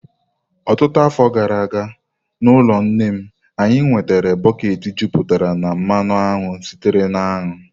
Ọtụtụ afọ gara aga, n'ụlọ nne m, anyị nwetara bọket jupụtara na mmanụ aṅụ sitere na aṅụ.